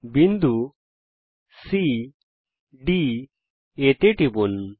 বিন্দু CD A তে টিপুন